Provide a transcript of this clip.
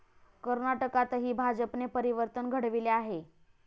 कर्नाटकातही भाजपने परिवर्तन घडविले आहे.